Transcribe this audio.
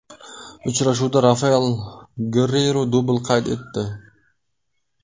Uchrashuvda Rafael Gerreyru dubl qayd etdi.